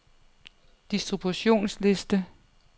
distributionsliste